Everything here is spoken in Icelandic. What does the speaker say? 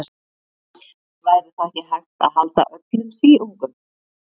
Væri þá ekki hægt að halda öllum síungum.